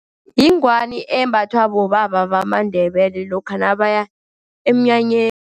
Yingwani embathwa bobaba bamaNdebele lokha nabaya emnyanyeni.